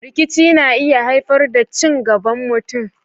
Rikici na iya haifar da cin gaban mutum.